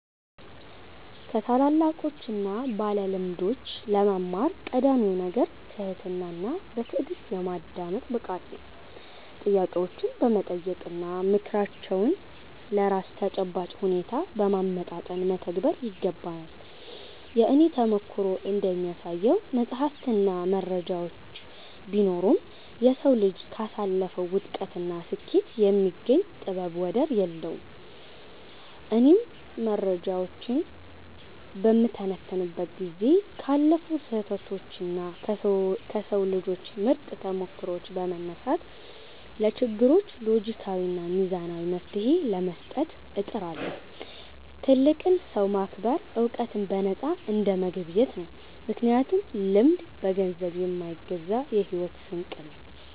ከታላላቆችና ባለልምዶች ለመማር ቀዳሚው ነገር ትህትናና በትዕግሥት የማዳመጥ ብቃት ነው። ጥያቄዎችን በመጠየቅና ምክራቸውን ለራስ ተጨባጭ ሁኔታ በማመጣጠን መተግበር ይገባል። የእኔ ተሞክሮ እንደሚያሳየው፣ መጻሕፍትና መረጃዎች ቢኖሩም፣ የሰው ልጅ ካሳለፈው ውድቀትና ስኬት የሚገኝ ጥበብ ወደር የለውም። እኔም መረጃዎችን በምተነትንበት ጊዜ ካለፉ ስህተቶችና ከሰው ልጆች ምርጥ ተሞክሮዎች በመነሳት፣ ለችግሮች ሎጂካዊና ሚዛናዊ መፍትሔ ለመስጠት እጥራለሁ። ትልቅን ሰው ማክበር ዕውቀትን በነፃ እንደመገብየት ነው፤ ምክንያቱም ልምድ በገንዘብ የማይገዛ የሕይወት ስንቅ ነው።